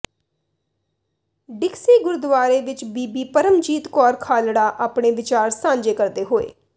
ਡਿਕਸੀ ਗੁਰਦੁਆਰੇ ਵਿਚ ਬੀਬੀ ਪਰਮਜੀਤ ਕੌਰ ਖਾਲੜਾ ਆਪਣੇ ਵਿਚਾਰ ਸਾਂਝੇ ਕਰਦੇ ਹੋਏ